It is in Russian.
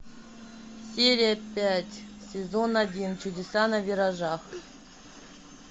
серия пять сезон один чудеса на виражах